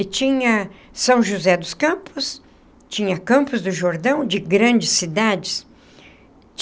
E tinha São José dos Campos, tinha Campos do Jordão, de grandes cidades.